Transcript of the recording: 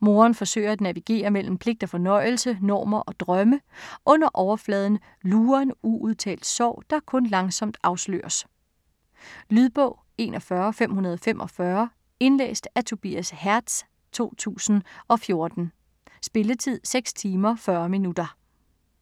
Moren forsøger at navigere mellem pligt og fornøjelse, normer og drømme. Under overfladen lurer en uudtalt sorg, der kun langsomt afsløres. Lydbog 41545 Indlæst af Tobias Hertz, 2014. Spilletid: 6 timer, 40 minutter.